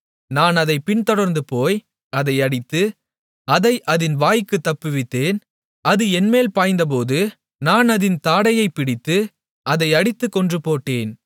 நான் அதைப் பின்தொடர்ந்துபோய் அதை அடித்து அதை அதின் வாய்க்குத் தப்புவித்தேன் அது என்மேல் பாய்ந்தபோது நான் அதின் தாடையைப் பிடித்து அதை அடித்துக் கொன்று போட்டேன்